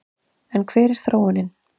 En hver er þróunin?